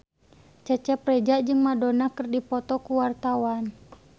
Cecep Reza jeung Madonna keur dipoto ku wartawan